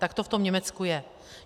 Tak to v tom Německu je.